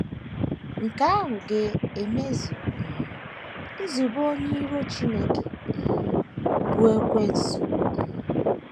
Nke ahụ ga - emezu um nzube Onye Iro Chineke um, bụ́ Ekwensu. um